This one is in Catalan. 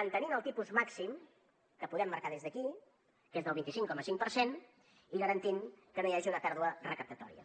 mantenint el tipus màxim que podem marcar des d’aquí que és del vint cinc coma cinc per cent i garantint que no hi hagi una pèrdua recaptatòria